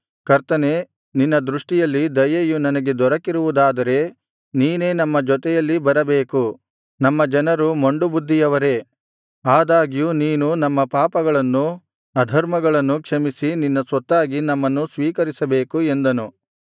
ಕರ್ತನೇ ನಿನ್ನ ದೃಷ್ಟಿಯಲ್ಲಿ ದಯೆಯು ನನಗೆ ದೊರಕಿರುವುದಾದರೆ ನೀನೇ ನಮ್ಮ ಜೊತೆಯಲ್ಲಿ ಬರಬೇಕು ನಮ್ಮ ಜನರು ಮೊಂಡುಬುದ್ಧಿಯವರೇ ಆದಾಗ್ಯೂ ನೀನು ನಮ್ಮ ಪಾಪಗಳನ್ನೂ ಅಧರ್ಮಗಳನ್ನು ಕ್ಷಮಿಸಿ ನಿನ್ನ ಸ್ವತ್ತಾಗಿ ನಮ್ಮನ್ನು ಸ್ವೀಕರಿಸಬೇಕು ಎಂದನು